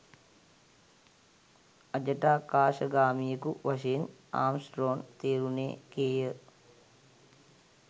අජටාකාශගාමියෙකු වශයෙන් ආම්ස්ට්‍රෝං තේරුණේ කේය